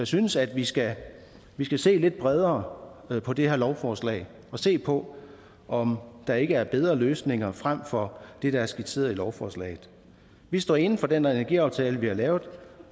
synes at vi skal vi skal se lidt bredere på det her lovforslag og se på om der ikke er bedre løsninger frem for det der er skitseret i lovforslaget vi står inde for den energiaftale vi har lavet